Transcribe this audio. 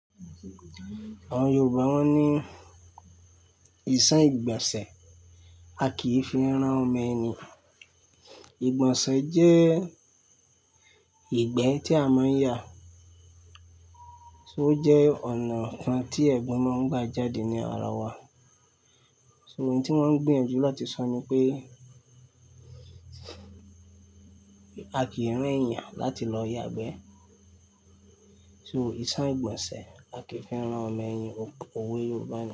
Àwọn Yorùbá wọ́n ní, "ìse ìgbọ̀nsẹ̀, a kìí fi rán ọmọ ẹni". Ìgbọ̀nsẹ̀ jẹ́ ìgbẹ́ tí a máa ń yà, so jẹ́ ọ̀nà kan tí ẹ̀gbin máa ń gbà jáde ní ara wa. So òun tí wọ́n ń gbiyànjú láti sọ ni pé, a kìí rán ẹ̀yàn láti lọ yàgbẹ́. So "ìsan ìgbọ̀nsẹ̀, a kìí fi rán ọmọ ẹni", òwe Yorùbá ni.